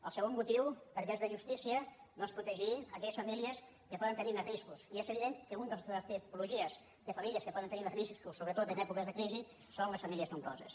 el segon motiu perquè és de justícia doncs protegir aquelles famílies que poden tenir més riscos i és evident que una de les tipologies de famílies que poden més riscos sobretot en èpoques de crisi són les famílies nombroses